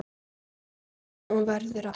Og verður alltaf.